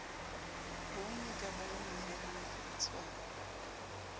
bonngwe ka bonngwe haele mafiritshwana